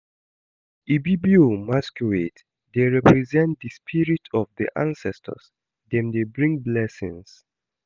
Ibibio masquerades dey represent di spirit of di ancestors, dem dey bring blessings.